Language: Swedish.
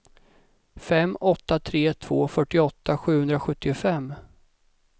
fem åtta tre två fyrtioåtta sjuhundrasjuttiofem